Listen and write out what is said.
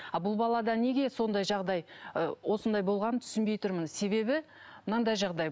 ал бұл балада неге сондай жағдай ы осындай болғанын түсінбей тұрмын себебі мынандай жағдай